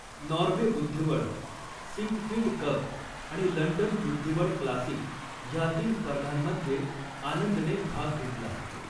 Norway बुद्धिबळ, Sinquefield cup आणि London बुद्धिबळ क्लासिक ह्या तीन स्पर्धांमध्ये आनंदने भाग घेतला.